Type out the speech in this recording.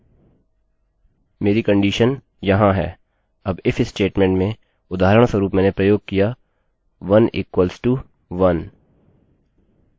मेरी कंडीशन यहाँ है अब if statement में उदाहरणस्वरूप मैंने प्रयोग किया 1=1